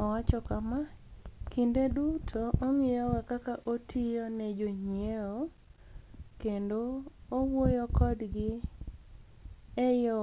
Owacho kama: "Kinide duto anig'iyoga kaka atiyo ni e joniyiewo, kenido awuoyo kodgi e yo